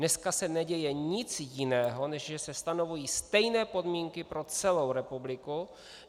Dnes se neděje nic jiného, než že se stanovují stejné podmínky pro celou republiku.